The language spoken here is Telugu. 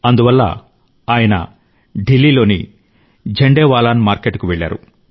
అందువల్ల ఆయన ఢిల్లీలోని ఝండేవాలాన్ మార్కెట్కు వెళ్ళారు